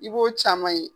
I b'o caman ye